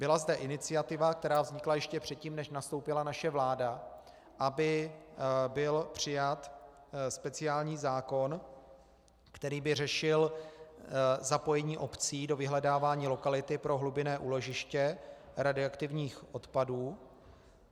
Byla zde iniciativa, která vznikla ještě předtím, než nastoupila naše vláda, aby byl přijat speciální zákon, který by řešil zapojení obcí do vyhledávání lokality pro hlubinné úložiště radioaktivních odpadů.